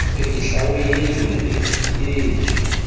re e hlaolele re sietswe